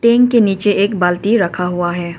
Tank के नीचे एक बाल्टी रखा हुआ है।